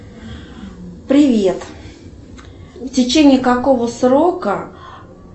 привет в течении какого срока